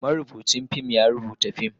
marubucin fim ya rubuta fim,